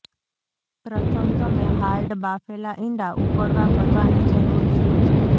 પ્રથમ તમે હાર્ડ બાફેલા ઇંડા ઉકળવા કરવાની જરૂર છે